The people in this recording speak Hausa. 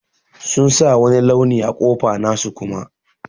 Sun sa wani launi a kofa nasu Kuma.